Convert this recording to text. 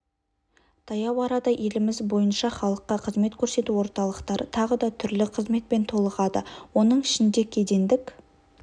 таяу арада еліміз бойынша халыққа қызмет көрсету орталықтары тағы да түрлі қызметпен толығады оның ішінде кедендік